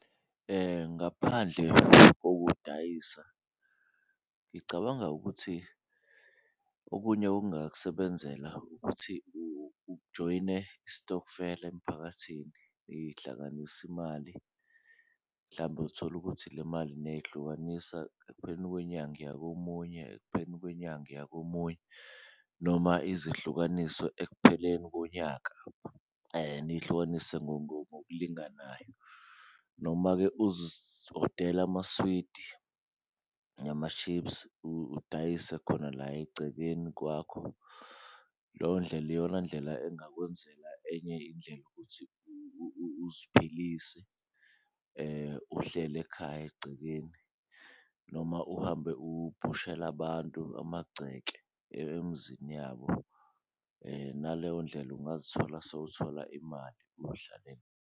Ngaphandle kokudayisa ngicabanga ukuthi okunye okungakusebenzela ukuthi ujoyine istokfela emiphakathini ihlanganise imali. Mhlawumbe uthole ukuthi le mali nihlukanisa ekupheleni kwenyanga iya komunye, ekupheleni kwenyanga iya komunye noma ize ihlukaniswe ekupheleni konyaka niyihlukanise ngokulinganayo. Noma-ke odela amaswidi, ama-chips udayise khona la egcekeni kwakho, leyo ndlela iyona ndlela engakwenzela enye indlela yokuthi uziphilise uhleli ekhaya egcekeni. Noma uhambe ubhushele abantu amagceke emizini yabo naleyo ndlela ungazithola sewuthola imali uyihlalele.